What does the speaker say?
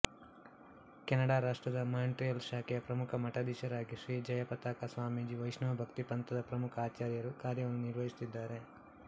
ಕೆನಡಾರಾಷ್ಟ್ರದ Montreal ಶಾಖೆಯ ಪ್ರಮುಖ ಮಠಾಧೀಶರಾಗಿ ಶ್ರೀ ಜಯಪತಾಕ ಸ್ವಾಮಿಜಿ ವೈಷ್ಣವ ಭಕ್ತಿ ಪಂಥದ ಪ್ರಮುಖ ಆಚಾರ್ಯರು ಕಾರ್ಯವನ್ನು ನಿರ್ವಹಿಸುತ್ತಿದ್ದಾರೆ